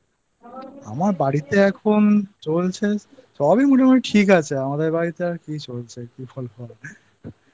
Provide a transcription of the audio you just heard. আমার বাড়িতে এখন চলছে...সবই মোটামুটি ঠিক আছে আমাদের বাড়িতে আর কি চলছে